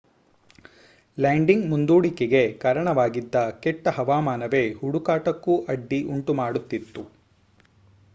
landing ಮುಂದೂಡಿಕೆಗೆ ಕಾರಣವಾಗಿದ್ದ ಕೆಟ್ಟ ಹವಾಮಾನವೇ ಹುಡುಕಾಟಕ್ಕೂ ಅಡ್ಡಿ ಉಂಟು ಮಾಡುತ್ತಿತ್ತು